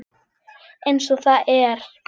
Eins og það er.